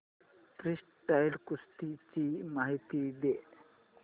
freestyle कुस्ती ची माहिती दे